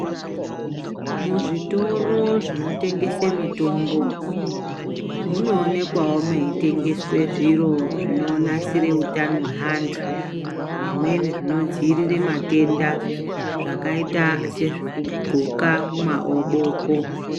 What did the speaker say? Muzvitoro zvinotengeswa mitombo munoonekwawo meitengeswa zviro zvinonasira hutano hwevantu zvimweni zvinodzivirira matenda zvakaita sezvekugonka mumaboko.